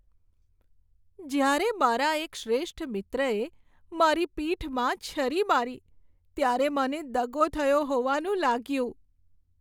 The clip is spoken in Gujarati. જ્યારે મારા એક શ્રેષ્ઠ મિત્રએ મારી પીઠમાં છરી મારી ત્યારે મને દગો થયો હોવાનું લાગ્યું.